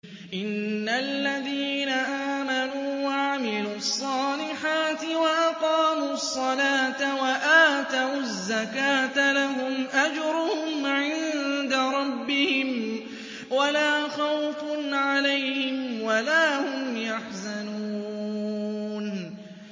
إِنَّ الَّذِينَ آمَنُوا وَعَمِلُوا الصَّالِحَاتِ وَأَقَامُوا الصَّلَاةَ وَآتَوُا الزَّكَاةَ لَهُمْ أَجْرُهُمْ عِندَ رَبِّهِمْ وَلَا خَوْفٌ عَلَيْهِمْ وَلَا هُمْ يَحْزَنُونَ